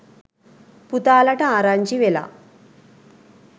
පුතාලට ආරංචි වෙලා.